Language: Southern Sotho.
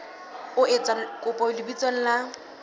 o etsa kopo lebitsong la